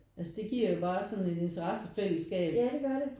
Altså det giver jo bare sådan en interessefælleskab